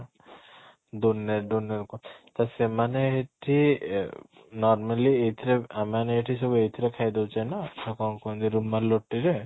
ତ ସେମାନ ଏଠି ଏ normally ଏଥିରେ ଆମେମାନେ ଏଠି ସବୁ ଏଇଥିରେ ଖାଇ ଦେଉଛେ ନା ତ କ'ଣ କୁହନ୍ତି ରୁମାଲ ରୁଟି ରେ